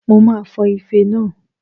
Mo máa fọ ife náà